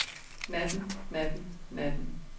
natten natten natten